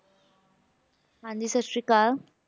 ਹਾਂਜੀ ਸਾਸਰੀਕਾਲ